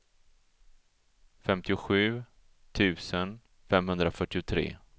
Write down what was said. femtiosju tusen femhundrafyrtiotre